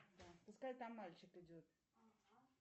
пускай там мальчик идет